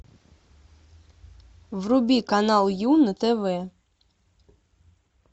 вруби канал ю на тв